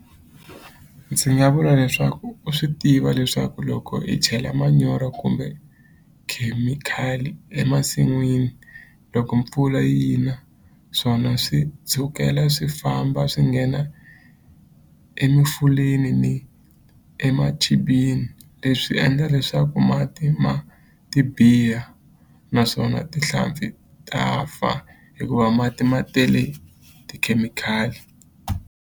Ndzi nga vula leswaku u swi tiva leswaku loko hi chela manyoro kumbe khemikhali emasin'wini loko mpfula yi na swona swi tshukela swi famba swi nghena ni leswi endla leswaku mati ma ti biha naswona tihlampfi ta fa hikuva mati ma tele tikhemikhali.